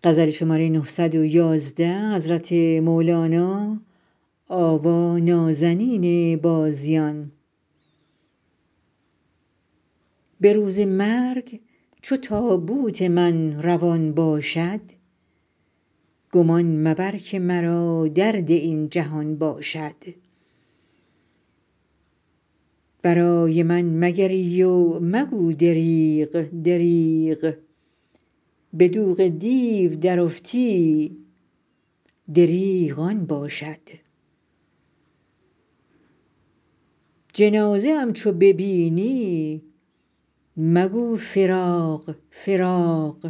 به روز مرگ چو تابوت من روان باشد گمان مبر که مرا درد این جهان باشد برای من مگری و مگو دریغ دریغ به دوغ دیو درافتی دریغ آن باشد جنازه ام چو ببینی مگو فراق فراق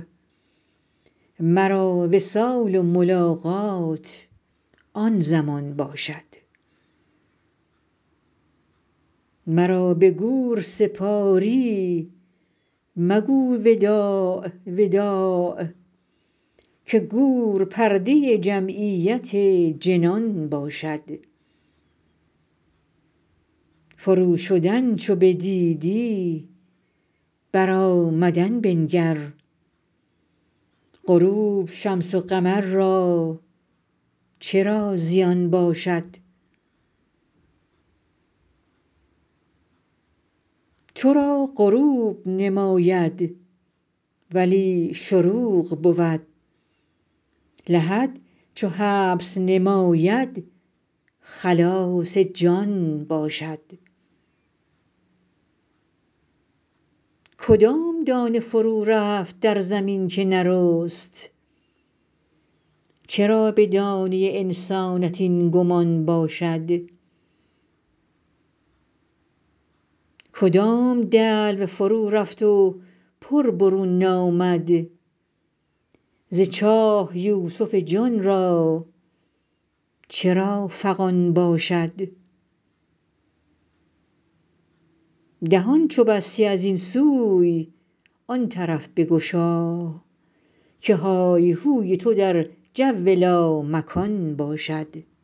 مرا وصال و ملاقات آن زمان باشد مرا به گور سپاری مگو وداع وداع که گور پرده جمعیت جنان باشد فروشدن چو بدیدی برآمدن بنگر غروب شمس و قمر را چرا زیان باشد تو را غروب نماید ولی شروق بود لحد چو حبس نماید خلاص جان باشد کدام دانه فرورفت در زمین که نرست چرا به دانه انسانت این گمان باشد کدام دلو فرورفت و پر برون نامد ز چاه یوسف جان را چرا فغان باشد دهان چو بستی از این سوی آن طرف بگشا که های هوی تو در جو لامکان باشد